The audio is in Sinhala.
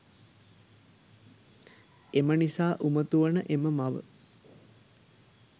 එමනිසා උමතු වන එම මව